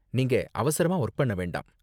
நீங்க அவசரமா வொர்க் பண்ண வேண்டாம்.